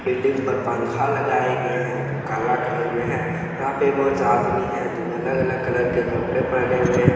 Building पर पखा लगाए गए है जो काला कलर मे है। यहा पे बहुत आदमी है जो अलग अलग कलर के कपडे पहने हुए है।